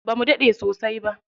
Bamu daɗe sosai ba.